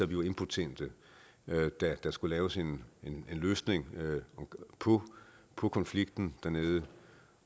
vi var impotente da der skulle laves en løsning på konflikten dernede